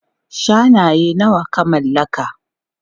Shanaye nawa ka mallaka?